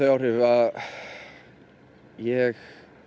áhrif að ég